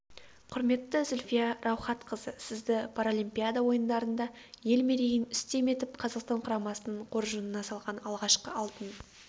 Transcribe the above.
құрметті зүлфия раухатқызы сізді паралимпиада ойындарында ел мерейін үстем етіп қазақстан құрамасының қоржынына салған алғашқы алтын